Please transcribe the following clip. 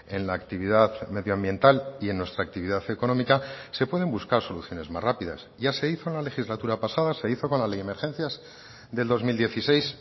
en la actividad medio ambiental y en nuestra actividad económica se pueden buscar soluciones más rápidas ya se hizo en la legislatura pasada se hizo con la ley de emergencias del dos mil dieciséis